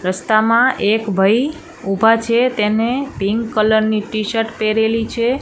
રસ્તામાં એક ભાઈ ઊભા છે તેને પિંક કલર ની ટીશર્ટ પેહરેલી છે.